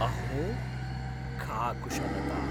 अहो, का कुशलता।